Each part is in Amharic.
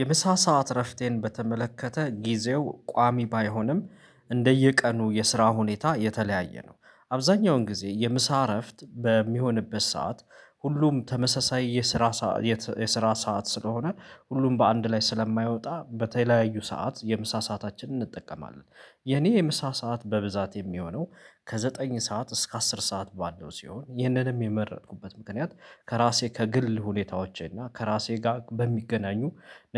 የሚሳ ሰዓት እረፍቴን በተመለከተ ጊዜው ቋሚ ባይሆንም እንደየቀኑ የስራ ሁኔታ የተለያየ ነው አብዛኛውን ጊዜ የምሳ እረፍት በሚሆንበት ሰዓት ሁሉም ተመሳሳይ የስራ ሰዓት የስራ ሰዓት ስለሆነ ሁሉም በአንድ ላይ ስለማይወጣ በተለያዩ ሰዓት የምሳ ሰአታችንን እንጠቀማለን የኔ የምሳ ሰዓት በብዛት የሚሆነው ከዘጠኝ ሰዓት እስከ አስር ሰዓት ባለው ሲሆን ይህንንም የመረጥኩበት ምክንያት ከራሴ ከግል ሁኔታዎቼ እና ከራሴ ጋር በሚገናኙ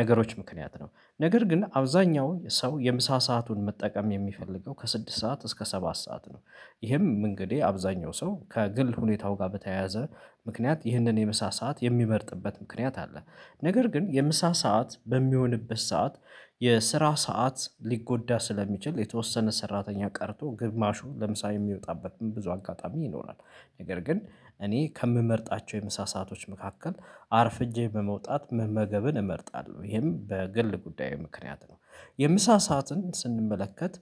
ነገሮች ምክንያት ነው ነገር ግን አብዛኛው ሰው የምሳ ሰአቱን መጠቀም የሚፈልገው ከስድስት ሰዓት እስከ ሰባት ሰዓት ነው ይህም ኢንግዲህ አብዛኛው ሰው ከግል ሁኔታው ጋር በተያያዘ ምክንያት ይህንን የምሳ ሰዓት የሚመርጥበት ምክንያት አለ ነገር ግን የምሳ ሰዓት በሚሆንበት ሰዓት የስራ ሰዓት ሊጎዳ ስለሚችል የተወሰነ ሰራተኛ ቀርቶ ግማሹ ለምሳሌ የሚወጣበትም ብዙ አጋጣሚ ይኖራል ነገር ግን እኔ ከምመርጣቸው የምሳ ሰአቶች መካከል አርፍጄ በመውጣት መመገብን እመርጣለሁ ይሄም በግል ጉዳዬ ምክንያት ነው የምሳ ሰዓትን ስንመለከት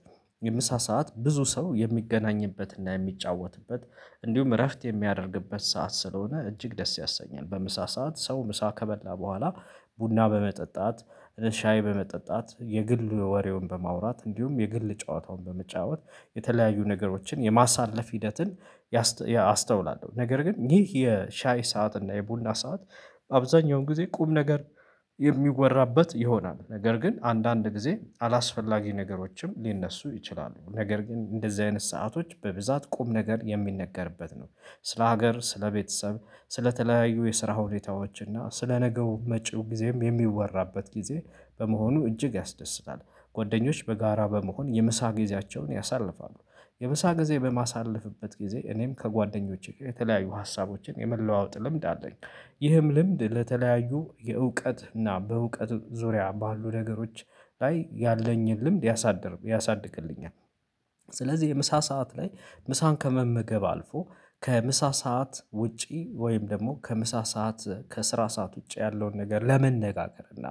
ምሳ ሰዓት ብዙ ሰው የሚገናኝበት እና የምጫወትበት እንድሁም እረፍት የሚያደርግበት ሰዓት ስለሆነ እጅግ ደስ ያሰኛል በምሳ ሰዓት ሰው ምሳ ከበላ በኋላ ቡና በመጠጣት ሻይ በመጠጣት የግል ወሬውን በማውራት እንዲሁም የግል ጨዋታውን በመጫወት የተለያዩ ነገሮችን የማሳለፍ ሂደትን አስተውላለሁ ነገር ግን ይህ የሻይ ሰዓት እና የቡና ሰዓት አብዛኛውን ጊዜ ቁም ነገር የሚወራበት ይሆናል ነገር ግን አንዳንድ ጊዜ አላስፈላጊ ነገሮችም ሊነሱ ይችላሉ ነገር ግን እንደዚህ አይነት ሰአቶች በብዛት ቁም ነገር የሚነገርበት ነው ስለ ሀገር ስለ ቤተሰብ ስለተለያዩ የስራ ሁኔታዎች እና ስለ ነገው መጪው ጊዜም የሚወራበት ጊዜ በመሆኑ እጅግ ያስደስታል። ጓደኞች በጋራ በመሆን የምሳ ጊዜያቸውን ያሳልፋሉ። የምሳ ጊዜ በማሳልፍበት ጊዜ እኔም ከጓደኞቼ የተለያዩ ሀሳቦችን የመለዋወጥ ልምድ አለኝ። ይህም ልምድ ለተለያዩ የዕውቀት እና በእውቀት ዙሪያ ባሉ ነገሮች ላይ ያለኝን ልምድ ያሳድር ያሳድግልኛል። ስለዚህ የምሳ ሰዓት ላይ ምሳን ከመመገብ አልፎ ከምሳ ሰዓት ውጪ ወይም ደግሞ ከምሳ ሰዓት ከስራ ሰዓት ውጪ ያለውን ነገር ለመነጋገር እና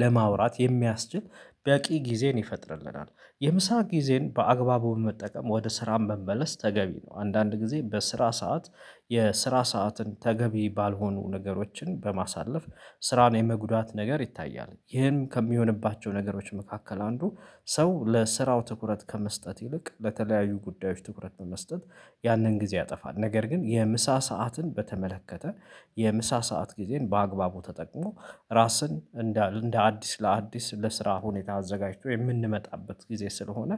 ለማውራት የሚያስችል በቂ ጊዜን ይፈጥርልናል የምሳ ጊዜን በአግባቡ መጠቀም ወደ ስራም መመለስ ተገቢ ነው አንዳንድ ጊዜ በስራ ሰዓት የስራ ሰዓትን ተገቢ ባልሆኑ ነገሮችን በማሳለፍ ስራን የመጉዳት ነገር ይታያል ይህም ከሚሆንባቸው ነገሮች መካከል አንዱ ሰው ለስራው ትኩረት ከመስጠት ይልቅ ለተለያዩ ጉዳዮች ትኩረት በመስጠት ያንን ጊዜ ያጠፋል ነገር ግን የምሳ ሰዓትን በተመለከተ የምሳ ሰዓት ጊዜን በአግባቡ ተጠቅሞ ራስን እንደ እንደ አዲስ ለአዲስ ለስራ ሁኔታ አዘጋጅቶ የምንመጣበት ጊዜ ስለሆነ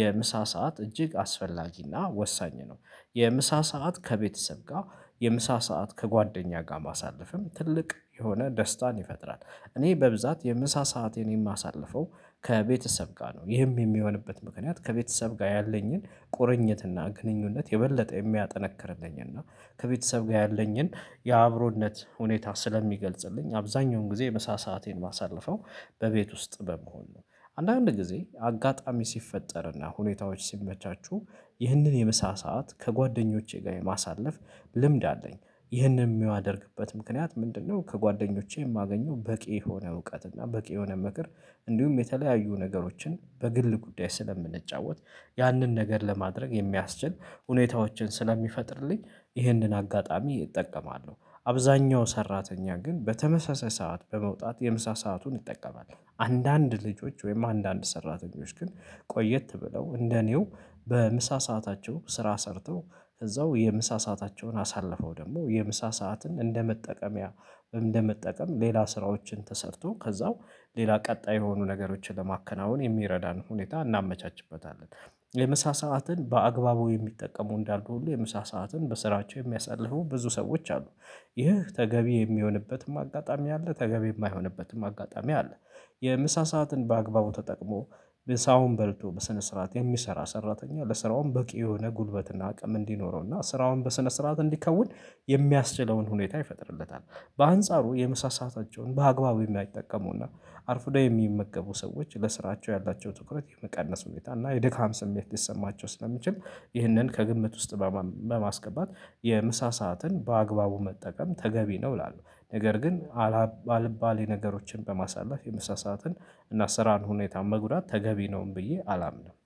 የምሳ ሰዓት እጅግ አስፈላጊ እና ወሳኝ ነው። የምሳ ሰዓት ከቤተሰብ ጋር፣ የምሳ ሰዓት ከጓደኛ ጋር ማሳልፍም ትልቅ የሆነ ደስታን ይፈጥራል። እኔ በብዛት የምሳ ሰአቴን የማሳልፈው፣ ከቤተሰብ ጋር ነው ይህም የሚሆንበት ምክንያት ከቤተሰብ ጋር ያለኝን ቁርኝት እና ግንኙነት የበለጠ የሚያጠነክርልኝ እና ከቤተሰብ ጋር ያለኝን የአብሮነት ሁኔታ ስለሚገልጽልኝ አብዛኛውን ጊዜ ምሳ ሰአቴን የማሳልፈው በቤት ውስጥ በመሆን ነው አንዳንድ ጊዜ አጋጣሚ ሲፈጠር እና ሁኔታዎች ሲመቻቹ ይህንን የምሳ ሰዓት ከጓደኞቼ ጋር የማሳለፍ ልምድ አለኝ ይህንን የሚያደርግበት ምክንያት ምንድነው ከጓደኞቼ የማገኘው በቂ የሆነ እውቀት እና በቂ የሆነ ምክር እንዲሁም የተለያዩ ነገሮችን በግል ጉዳይ ስለምንጫወት ያንን ነገር ለማድረግ የሚያስችል ሁኔታዎችን ስለሚፈጥርልኝ ይህንን አጋጣሚ እጠቀማለሁ። አብዛኛው ሰራተኛ ግን በተመሳሳይ ሰዓት በመውጣት የምሳ ሰአቱን ይጠቀማል። አንዳንድ ልጆች ወይም አንዳንድ ሰራተኞች ግን ቆየት ብለው እንደ እኔው በምሳ ሰዓታቸው ስራ ሰርተው እዛው የምሳ ሰአታቸውን አሳልፈው ደግሞ የምሳ ሰዓትን እንደመጠቀምያ፣ እንደመጠቀም ሌላ ስራዎችን ተሰርቶ ከዛው ሌላ ቀጣይ የሆኑ ነገሮችን ለማከናወን የሚረዳን ሁኔታ እናመቻችበታለን። የምሳ ሰዓትን በአግባቡ የሚጠቀሙ እንዳሉ ሁሉ፣ ሰዓትን በስራቸው የሚያሳልፉ ብዙ ሰዎች አሉ። ይህ ተገቢ የሚሆንበትም አጋጣሚ አለ፣ ተገቢ የማይሆንበትም አጋጣሚ አለ። የምሳ ሰዓትን በአግባቡ ተጠቅሞ፣ ምሳውን በልቶ በስነ ስርዓት የሚሰራ ሰራተኛ ለስራውም በቂ የሆነ ጉልበት እና አቅም እንዲኖረው እና ስራውን በስነ ስርዓት እንዲከውን የሚያስችለውን ሁኔታ ይፈጥርለታል። በአንጻሩ የምሳ ሰአታቸውን በአግባቡ የማይጠቀሙ እና፣ አርፍዶ የሚመገቡ ሰዎች ለስራቸው ያላቸው ትኩረት የመቀነስ ሁኔታ እና የድካም ስሜት ሊሰማቸው ስለሚችል፣ ይህንን ከግምት ውስጥ በማም በማስገባት የምሳ ሰዓትን በአግባቡ መጠቀም ተገቢ ነው ይላሉ። ነገር ግን አላ አልባለ ነገሮችን በማሳለፍ የምሳ ሰዓትን እና ስራን ሁኔታን መጉዳት ተገቢ ነውም ብዬ አላምንም።